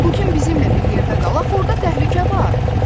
Bu gün bizimlə bir yerdə qal, axı orda təhlükə var.